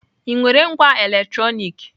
Ị nwere ngwá electronic?